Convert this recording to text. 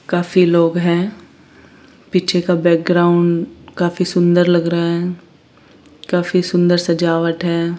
काफी लोग हैं पीछे का बैकग्राउंड काफी सुंदर लग रहा है काफी सुंदर सजावट है।